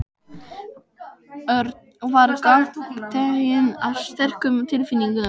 Örn var gagntekinn af sterkum tilfinningum.